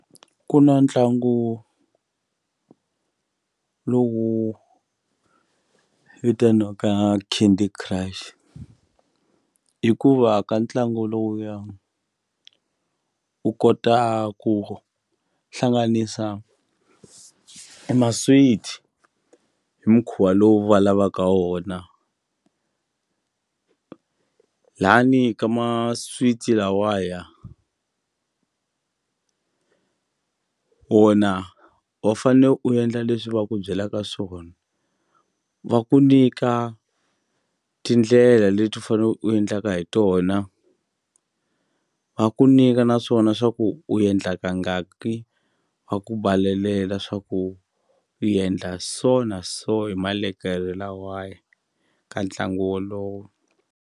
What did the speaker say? Ku na ntlangu lowu vitaniwaka Candy Crush hikuva ka ntlangu lowuya u kota ku hlanganisa e maswiti hi mukhuva lowu va lavaka wona layani ka maswiti lawaya wona wa fanele u endla leswi va ku byelaka swona va ku nyika tindlela leti u fane u endlaka hi tona va ku nyika naswona swa ku u endla kangaki wa ku swa ku i endla so na so hi malekere lawaya ka ntlangu wolowo.